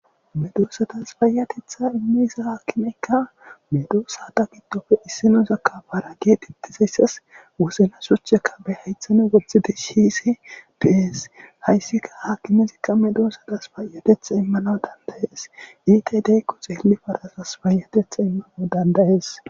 Medosa payatetha imiza akimeka medosa gidope isinoza para getetizayiasi wozana shochaka be hayithani siyishe deyesi hayisi akimezi medosatasi payayethi imanawu dandayesi yatedi parazasi payatetha imanawu dandayesi